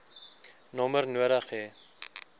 nommer nodig hê